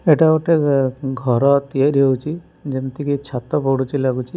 ଏଟା ଗୋଟେ ଏ ଘର ତିଆରି ହୋଉଚି ଯେମିତିକି ଛାତ ପଡୁଚି ଲାଗୁଚି।